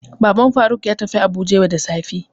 Baban Faruk ya tafi Abuja yau da safe.